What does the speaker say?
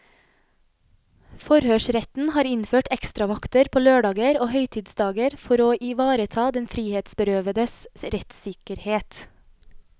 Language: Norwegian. Forhørsretten har innført ekstravakter på lørdager og høytidsdager for å ivareta den frihetsberøvedes rettssikkerhet.